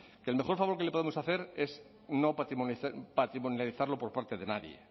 que el mejor favor que le podemos hacer es no patrimonializarlo por parte de nadie